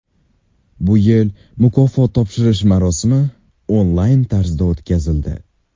Bu yil mukofot topshirish marosimi onlayn tarzda o‘tkazildi.